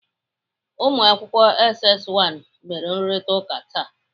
Ụmụakwụkwọ SS 1 mere nrụrịtaụka taa.